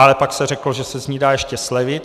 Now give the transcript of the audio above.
Ale pak se řeklo, že se z ní dá ještě slevit.